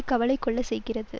கவலை கொள்ள செய்கிறது